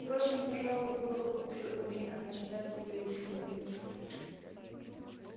впрочем пожалуй было бы хуже умей она читать её истинные мысли